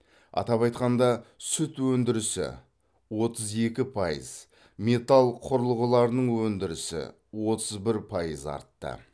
атап айтқанда сүт өндірісі отыз екі пайыз металл құрылғыларының өндірісі отыз бір пайыз артты